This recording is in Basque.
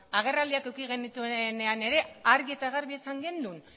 eta agerraldiak eduki genituenean ere argi eta garbi esan genuen